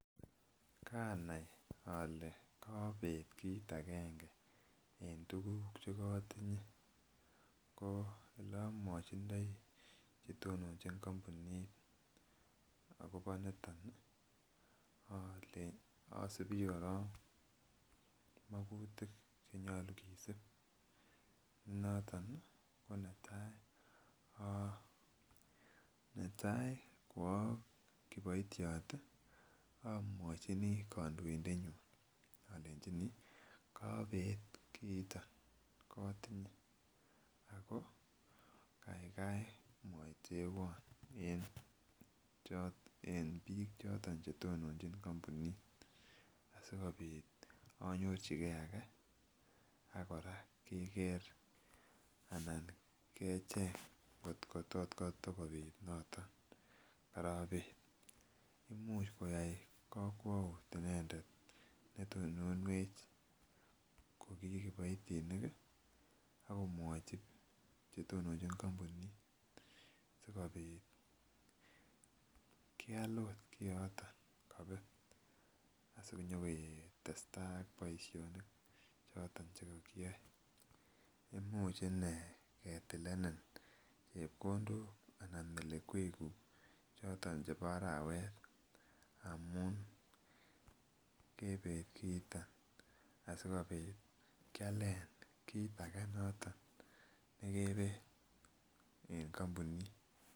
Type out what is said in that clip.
Kanai ole kobet kit agenge en tukuk chekotinye ko oleomwochindoi chetononchin kompunit akobo niton nii ole osibii korong mokutuk chenyolu kisib ne noton nii ko netai. Netai ko okiboityo omwochini kondoindenyun olenjinii kobet kiiton kotinye ako kaigai mwaoitewon en choto en bik choton chetononchin kompunit asikopit inyorchigee age ak Koraa Keker anan kecheng koto tot kotakopit noten korobet. Imuch koyai kowout inendet netononwech ko ki kiboitinik kii akomwochi chetononchin kompunit sikopit keal ot kioton kobet asinyoketestai ak boishonik choton chekokiyoe, imuche inee ketileni chepkondok anan melekwek kuk choton chebo arawet amun kebet kiiton asikopit Kialen kit age noton nekebet en kompunit.